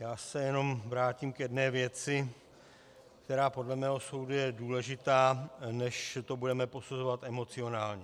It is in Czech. Já se jenom vrátím k jedné věci, která podle mého soudu je důležitá, než to budeme posuzovat emocionálně.